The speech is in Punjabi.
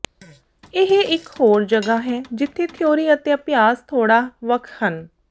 ਇਹ ਇਕ ਹੋਰ ਜਗ੍ਹਾ ਹੈ ਜਿੱਥੇ ਥਿਊਰੀ ਅਤੇ ਅਭਿਆਸ ਥੋੜ੍ਹਾ ਵੱਖ ਹਨ